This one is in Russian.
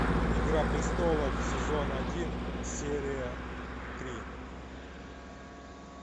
игра престолов сезон один серия три